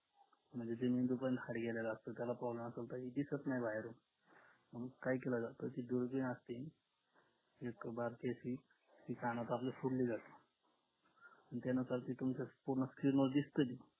म्हणजे हाड गेलेल असत त्याला problem असेल तर दिसत नाही दिसत नाही बाहेर मग काय केला जात कानाखाली एक फोडली जाते